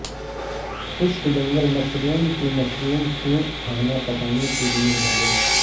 خشک جنگل مشروم سے مشروم سوپ کھانا پکانے کے لئے ہدایت